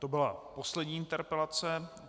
To byla poslední interpelace.